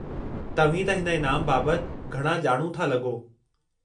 तव्हीं त हिन इनाम बाबति घणा ॼाणू था लॻो।